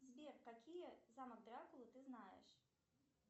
сбер какие замок дракулы ты знаешь